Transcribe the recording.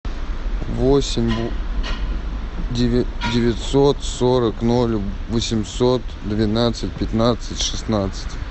восемь девятьсот сорок ноль восемьсот двенадцать пятнадцать шестнадцать